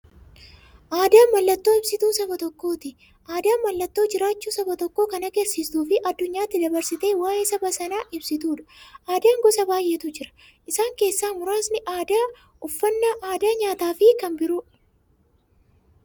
Aadaan mallattoo ibsituu saba tokkooti. Aadaan mallattoo jiraachuu saba tokkoo kan agarsiistufi addunyyaatti dabarsitee waa'ee saba sanaa ibsituudha. Aadaan gosa baay'eetu jira. Isaan keessaa muraasni aadaa, uffannaa aadaa nyaataafi kan biroo.